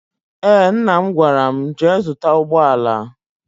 Eé, mna m gwara m, jee zụta ụgbọala.